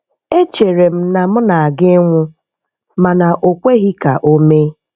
Echere m na m na-aga ịnwụ ma o kweghị ka o mee.